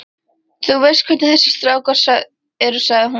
Þú veist hvernig þessir strákar eru sagði hún þá.